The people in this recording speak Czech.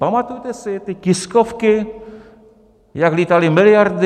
Pamatujete si ty tiskovky, jak lítaly miliardy?